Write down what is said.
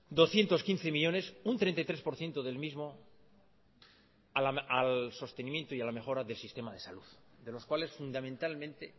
doscientos quince millónes un treinta y tres por ciento del mismo al sostenimiento y a la mejora del sistema de salud de los cuales fundamentalmente